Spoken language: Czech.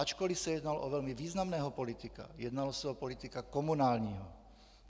Ačkoliv se jednalo o velmi významného politika, jednalo se o politika komunálního.